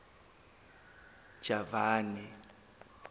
javani